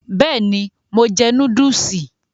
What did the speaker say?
Bẹ́ẹ̀ni, mo jẹ núdùsì